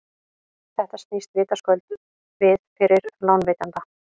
þetta snýst vitaskuld við fyrir lánveitanda